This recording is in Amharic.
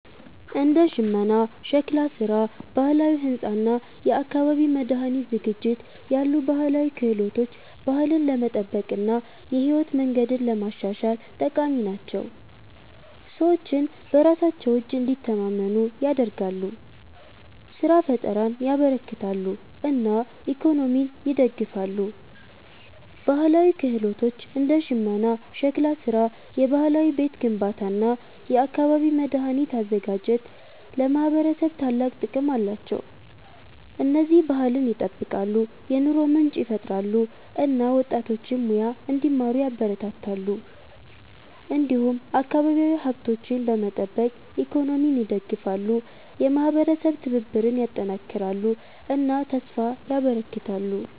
እንደ ሽመና፣ ሸክላ ስራ፣ ባህላዊ ሕንፃ እና የአካባቢ መድኃኒት ዝግጅት ያሉ ባህላዊ ክህሎቶች ባህልን ለመጠበቅ እና የህይወት መንገድን ለማሻሻል ጠቃሚ ናቸው። ሰዎችን በራሳቸው እጅ እንዲተማመኑ ያደርጋሉ፣ ስራ ፍጠርን ያበረክታሉ እና ኢኮኖሚን ይደግፋሉ። ባህላዊ ክህሎቶች እንደ ሽመና፣ ሸክላ ስራ፣ የባህላዊ ቤት ግንባታ እና የአካባቢ መድኃኒት አዘጋጅት ለማህበረሰብ ታላቅ ጥቅም አላቸው። እነዚህ ባህልን ይጠብቃሉ፣ የኑሮ ምንጭ ይፈጥራሉ እና ወጣቶችን ሙያ እንዲማሩ ያበረታታሉ። እንዲሁም አካባቢያዊ ሀብቶችን በመጠቀም ኢኮኖሚን ይደግፋሉ፣ የማህበረሰብ ትብብርን ያጠናክራሉ እና ተስፋ ያበረክታሉ።